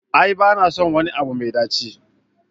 A'a ba na son wani abu mai ɗaci.